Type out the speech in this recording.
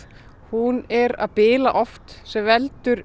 hún er að bila oft sem veldur